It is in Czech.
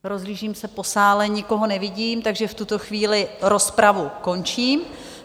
Rozhlížím se po sále, nikoho nevidím, takže v tuto chvíli rozpravu končím.